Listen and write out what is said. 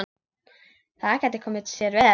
Það gæti komið sér vel.